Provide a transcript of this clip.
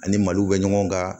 Ani mali bɛ ɲɔgɔn kan